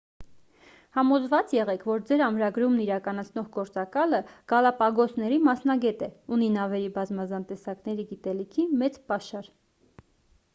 համոզված եղեք որ ձեր ամրագրումն իրականացնող գործակալը գալապագոսների մասնագետ է ունի նավերի բազմազան տեսակների գիտելիքի մեծ պաշար